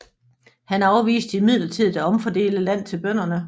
Han afviste imidlertid at omfordele land til bønderne